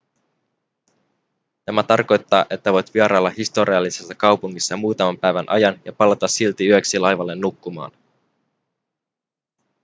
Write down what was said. tämä tarkoittaa että voit vierailla historiallisessa kaupungissa muutaman päivän ajan ja palata silti yöksi laivalle nukkumaan